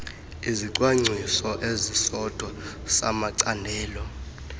isicwangcwwiso esisodwa samacandelo